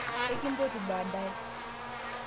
ekimpoti baadaye